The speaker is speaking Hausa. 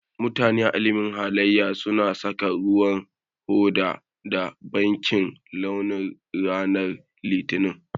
Mutane a ilimin halaye su na saka ruwan hoda da bakin launi ranan litinin.